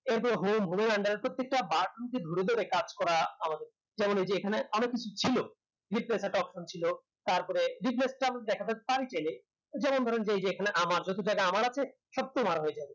এর পরে home home এর under এ প্রত্যেকটা button কে ধরে ধরে কাজ করা আমাদের কেবলি কি এখানে অনেক কিছু ছিল option ছিল তারপরে যেমন ধরেন যে এই যে এখানে আমার যত জায়গায় আমার আছে সব তোমার হয়ে যাবে